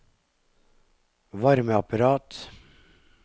varmeapparat